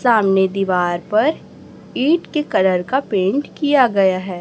सामने दीवार पर ईंट के कलर का पेंट किया गया है।